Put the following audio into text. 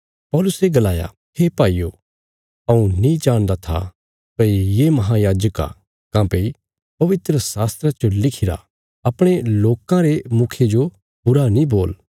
पौलुसे गलाया हे भाईयो हऊँ नीं जाणदा था भई ये महायाजक आ काँह्भई पवित्रशास्त्रा च लिखिरा अपणे लोकां रे मुखिये जो बुरा नीं बोल